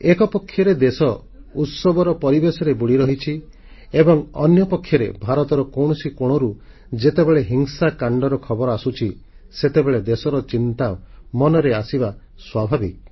ଏକପକ୍ଷରେ ଦେଶ ଉତ୍ସବର ପରିବେଶରେ ବୁଡ଼ି ରହିଛି ଏବଂ ଅନ୍ୟପକ୍ଷରେ ଭାରତର କୌଣସି କୋଣରୁ ଯେତେବେଳେ ହିଂସାକାଣ୍ଡର ଖବର ଆସୁଛି ସେତେବେଳେ ଦେଶର ଚିନ୍ତା ମନରେ ଆସିବା ସ୍ୱାଭାବିକ